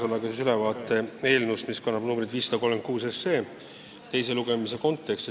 Annan teile ülevaate eelnõust, mis kannab numbrit 536.